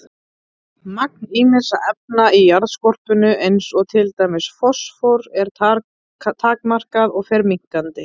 Magn ýmissa efna í jarðskorpunni eins og til dæmis fosfórs er takmarkað og fer minnkandi.